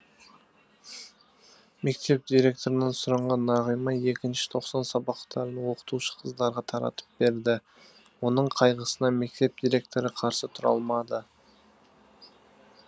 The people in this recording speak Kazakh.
мектеп директорынан сұранған нағима екінші тоқсан сабақтарын оқытушы қыздарға таратып берді оның қайғысына мектеп директоры қарсы тұра алмады